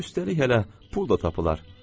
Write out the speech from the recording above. Üstəlik hələ pul da tapılar.